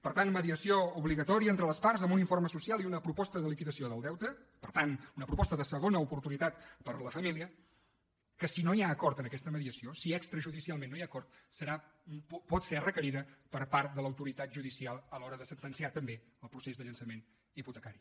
per tant mediació obligatòria entre les parts amb un informe social i una proposta de liquidació del deute per tant una proposta de segona oportunitat per a la família que si no hi ha acord en aquesta mediació si extrajudicialment no hi ha acord serà pot ser requerida per part de l’autoritat judicial a l’hora de sentenciar també el procés de llançament hipotecari